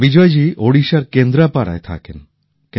বিজয় জী ওড়িশার কেন্দ্রাপাড়ায় থাকেন